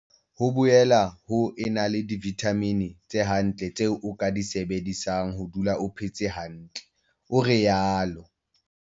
"Ho boela ho ena le divithamini tse hantle tseo o ka di sebedisang ho dula o phetse hantle," o rialo.